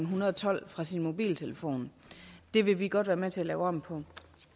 hundrede og tolv fra sin mobiltelefon det vil vi godt være med til at lave om på